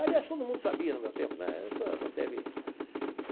Aliás, todo mundo sabia no meu tempo, né? Isso não teve.